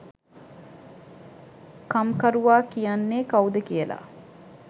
කම්කරුවා කියන්නේ කවුද කියලා